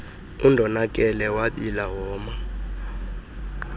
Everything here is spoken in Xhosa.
undonakele wabila woma